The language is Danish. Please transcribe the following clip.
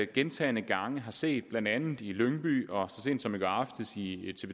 gentagne gange har set blandt andet i lyngby og så sent som i går aftes i